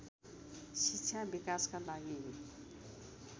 शिक्षा विकासका लागि